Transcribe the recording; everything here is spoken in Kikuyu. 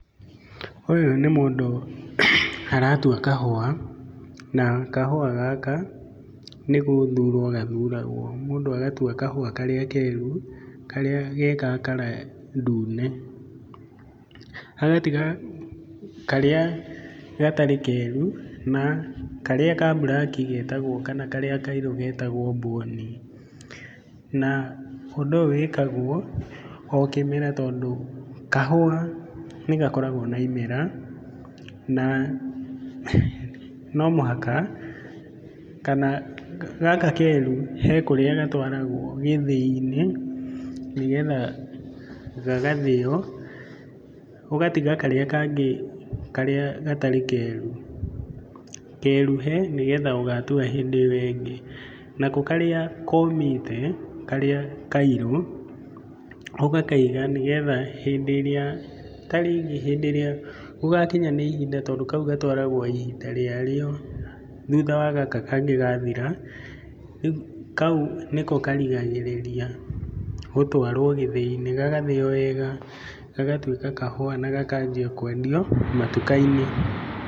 Ũyũ nĩ mũndũ aratua kahũa, na kahũa gaka nĩ gũthurwo gathuragwo. Mũndũ agatua kahũa karĩa keru, karĩa ge ga colour ndune. Agatiga karĩa gatarĩ keru na karĩa ka black getagwo kana karĩa kairũ getagwo mbũni. Na ũndũ ũyũ wĩkagwo o kĩmera, tondũ kahũa nĩ gakoragwo na imera, na no mũhaka, kana gaka keru he kũrĩa gatwaragwo gĩthĩi-inĩ ũgatiga karĩa gatarĩ keru, keruhe nĩgetha ũgatũara hĩndĩ ĩyo ĩngĩ. Nako karĩa komĩte, karĩa kairũ ũgakaiga, nĩgetha hĩndĩ ĩrĩa gũgakinya nĩ ihinda, tondũ kau gatwaragwo ihinda rĩarĩo, thutha wa gaka kangĩ gathira. Kau nĩko karigagĩrĩria, gũtwarwo gĩthĩi-inĩ, gagathĩo wega, gagatuĩka kahũa na gakanjia kwendio matuka-inĩ.